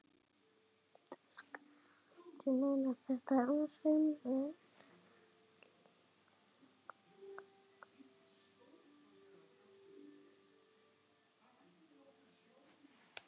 Næst þurfti að selja bílinn.